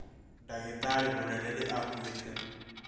Ndagĩtarĩ mũnene nĩ akuĩte